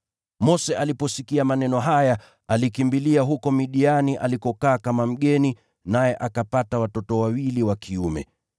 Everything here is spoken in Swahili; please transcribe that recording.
Mose aliposikia maneno haya, alikimbilia huko Midiani alikokaa kama mgeni, naye akapata watoto wawili wa kiume.